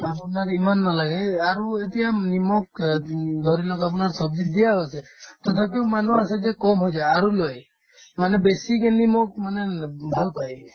আৰু তাক ইমান নালাগে আৰু এতিয়া নিমখ অ উম ধৰি লওক আপোনাৰ ছব্জিত দিয়া আছে তথাপিতো মানুহৰ আচলতে কম হৈছে আৰু লই মানে basically মোক মানে উম ভাল পাই